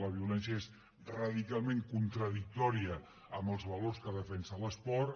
la violència és radicalment contradictòria amb els valors que defensa l’esport